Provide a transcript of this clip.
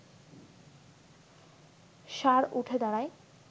ষাঁড় উঠে দাঁড়ায়